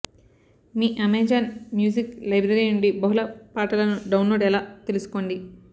మీ Amazon music library నుండి బహుళ పాటలను డౌన్లోడ్ ఎలా తెలుసుకోండి